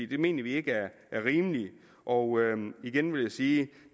det mener vi ikke er rimeligt og igen vil jeg sige